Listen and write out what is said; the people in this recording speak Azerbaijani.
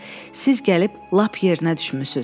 Siz gəlib lap yerinə düşmüsünüz.